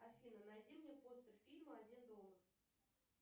афина найди мне постер фильма один дома